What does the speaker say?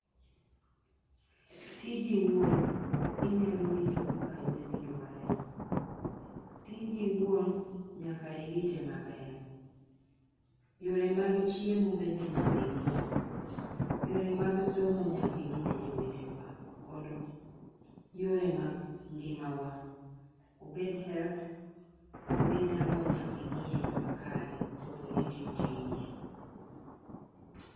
Tiji owuon inyalo rito kaka in midware. Tiji iwuon nyaka irite maber , yore mag chiemo nyaki ng'i, yore mag somo nyaki ng'i ne jowetewa kod yore mag ngimawa obed health, obed ang'o nyaki ing'i eyo makare kapo ni itiyo tiji.